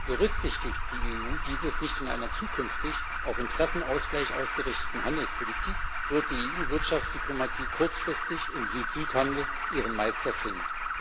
Berücksichtigt die EU dies in einer zukünftig auf Interessenausgleich ausgerichteten Handelspolitik nicht, wird die EU Wirtschaftsdiplomatie kurzfristig im Südhandel ihren Meister finden.